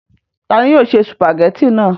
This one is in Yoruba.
ta ni yóò ṣe sùpàgẹ́tì náà?